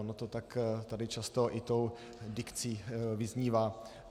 Ono to tak tady často i tou dikcí vyznívá.